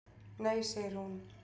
"""Nei, segir hún."""